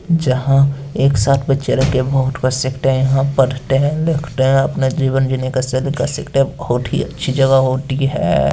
जहाँ एक साथ बच्चा लोग के वोट कर सकते हैं हम पढ़ते लिखते हैं अपने जीवन जीने का सलीका सीखते हैं और बहुत ही अच्छी जगह होती है।